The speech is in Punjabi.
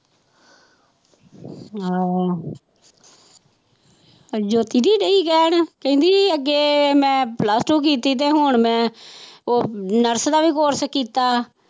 ਹਾਂ ਜੋਤੀ ਵੀ ਰਹੀ ਕਹਿਣ ਕਹਿੰਦੀ ਅੱਗੇ ਮੈਂ plus-two ਕੀਤੀ ਤੇ ਹੁਣ ਮੈਂ ਉਹ nurse ਦਾ ਵੀ course ਕੀਤਾ